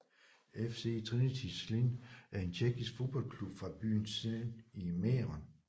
FC Trinity Zlín er en tjekkisk fodboldklub fra byen Zlín i Mähren